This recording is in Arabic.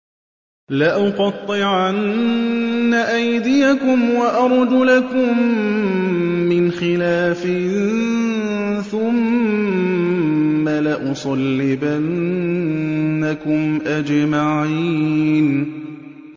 لَأُقَطِّعَنَّ أَيْدِيَكُمْ وَأَرْجُلَكُم مِّنْ خِلَافٍ ثُمَّ لَأُصَلِّبَنَّكُمْ أَجْمَعِينَ